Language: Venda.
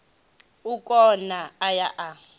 o kuna a ya a